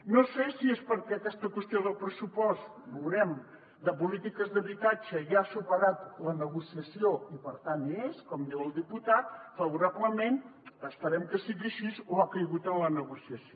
no sé si és perquè aquesta qüestió del pressupost ho veurem de polítiques d’habitatge ja ha superat la negociació i per tant hi és com diu el diputat favorablement que esperem que sigui així o ha caigut en la negociació